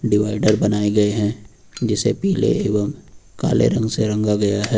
Divider बनाए गए हैं जिसे पीले एवं काले रंग से रंगा गया है।